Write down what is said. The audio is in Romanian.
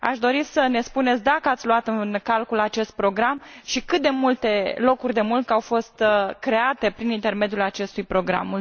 Aș dori să ne spuneți dacă ați luat în calcul acest program și cât de multe locuri de muncă au fost create prin intermediul acestui program.